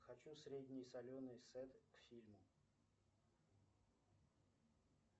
хочу средний соленый сет к фильму